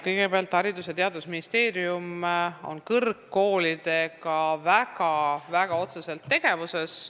Kõigepealt, Haridus- ja Teadusministeerium on kõrgkoolidega väga-väga otseselt tegevuses.